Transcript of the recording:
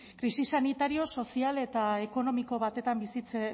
krisi sanitario sozial eta ekonomiko